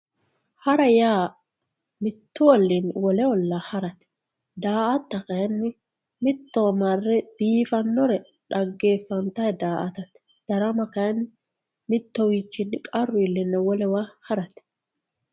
hara yaa mittu olliinni wole ollaa harate daa"ata kayiinni mittowa marre biifannore dhaggeeffantayii daa"atate darama kayiinni mitturicho woy qarru iilleenna harate.